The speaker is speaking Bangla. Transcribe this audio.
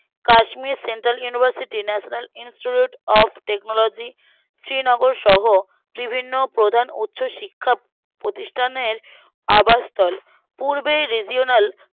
Kashmir central university national institute of technology শ্রীনগরসহ বিভিন্ন প্রধান উচ্চশিক্ষা প্রতিষ্ঠানের আবাসস্থল পূর্বেই regional